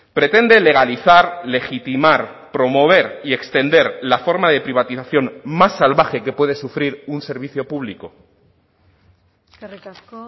pretende legalizar legitimar promover y extender la forma de privatización más salvaje que puede sufrir un servicio público eskerrik asko